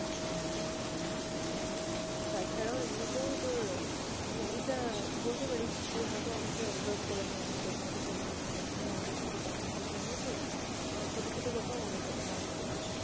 হ্যাঁ হ্যাঁ তাছাড়াও এমনিতেও তোর মানে এটা বলতে পারিস যে হয়তো অনেকে observe করেনি এমন কথা হয়তো সেদিন একদিন আমাদের মধ্যে conversation হয়েছে আমার ছোট ছোট কথাও মনে থা~ মনে থেকে যায়।